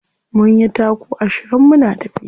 Mun yi taku ashirin muna tafiya.